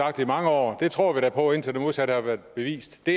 og jeg tror da på i indtil det modsatte er bevist at